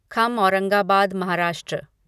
खम औरंगाबाद महाराष्ट्र